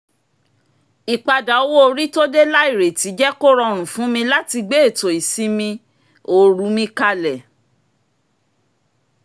ìpadà owó orí tó dé láìrètí jẹ́ kó rọrùn fún mi láti gbé ètò ìsimi ooru mi kalẹ̀